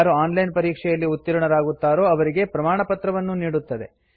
ಯಾರು online ಪರೀಕ್ಷೆಯಲ್ಲಿ ಉತ್ತೀರ್ಣರಾಗುತ್ತಾರೋ ಅವರಿಗೆ ಪ್ರಮಾಣಪತ್ರವನ್ನೂ ನೀಡುತ್ತದೆ